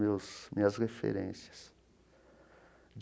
Meus minhas referências.